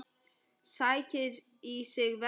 Sækir í sig veðrið.